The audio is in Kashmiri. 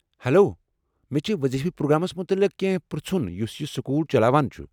ہیلو ، مےٚ چھِ وضیفہٕ پروگرامس مُتعلق كینہہ پر٘ژُھن یُس یہِ سكول چلاوان چُھ ۔